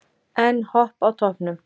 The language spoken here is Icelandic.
Enn Hopp á toppnum